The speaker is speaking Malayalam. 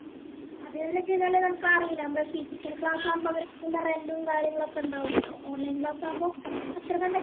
അത്‌ന്ന് വെച്ചായിഞ്ഞാല് നിനക്കറിയില്ലേ മ്മള് physical class ആവുമ്പൊ അവർക്ക് rent ഉം കാര്യങ്ങളൊക്കെ ഇണ്ടാവൂല്ലോ online class ആവുമ്പോ അത്രകണ്ട്